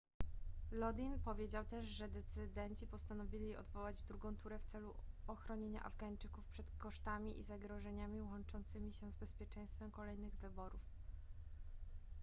lodin powiedział też że decydenci postanowili odwołać drugą turę w celu ochronienia afgańczyków przed kosztami i zagrożeniami łączącymi się z bezpieczeństwem kolejnych wyborów